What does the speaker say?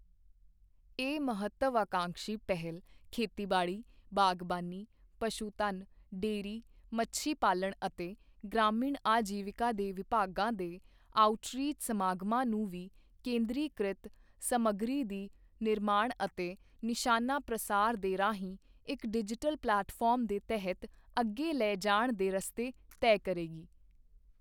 ਇਹ ਮਹੱਤਵਆਕਾਂਸ਼ੀ ਪਹਿਲ ਖੇਤੀਬਾੜੀ, ਬਾਗਬਾਨੀ, ਪਸ਼ੂਧਨ, ਡੇਅਰੀ, ਮੱਛੀ ਪਾਲਣ ਅਤੇ ਗ੍ਰਾਮੀਣ ਆਜੀਵਿਕਾ ਦੇ ਵਿਭਾਗਾਂ ਦੇ ਆਉਟਰੀਚ ਸਮਾਗਮਾਂ ਨੂੰ ਵੀ ਕੇਂਦਰੀ ਕ੍ਰਿਤ ਸਮੱਗਰੀ ਦੀ ਨਿਰਮਾਣ ਅਤੇ ਨਿਸ਼ਾਨਾ ਪ੍ਰਸਾਰ ਦੇ ਰਾਹੀਂ ਇੱਕ ਡਿਜ਼ੀਟਲ ਪਲੈਟਫਾਰਮ ਦੇ ਤਹਿਤ ਅੱਗੇ ਲੈ ਜਾਣ ਦੇ ਰਸਤੇ ਤੈਅ ਕਰੇਗੀ।